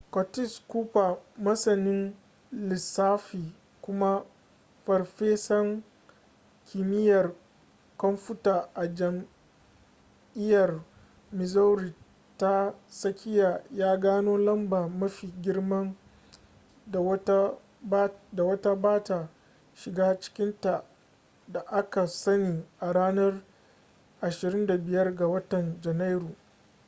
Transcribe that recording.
curtis cooper masanin lissafi kuma farfesan kimiyyar kwamfuta a jami'ar missouri ta tsakiya ya gano lamba mafi girman da wata bata shiga cikinta da aka sani a ranar 25 ga watan janairu